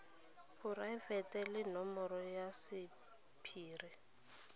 poraefete le nomoro ya sephiri